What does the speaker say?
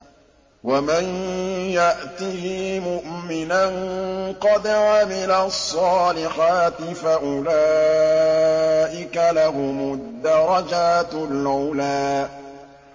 وَمَن يَأْتِهِ مُؤْمِنًا قَدْ عَمِلَ الصَّالِحَاتِ فَأُولَٰئِكَ لَهُمُ الدَّرَجَاتُ الْعُلَىٰ